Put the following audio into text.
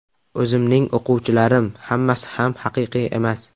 O‘zimning o‘quvchilarim hammasi ham haqiqiy emas.